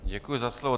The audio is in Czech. Děkuji za slovo.